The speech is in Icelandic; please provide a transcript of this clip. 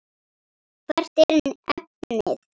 Hvert er efnið?